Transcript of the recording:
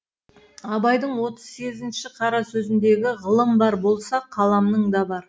абайдың отыз сегізінші қара сөзіндегі ғылым бар болса қаламың да бар